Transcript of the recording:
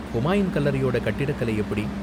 ஹூமாயூன் கல்லறையோட கட்டிடக்கலை எப்படி?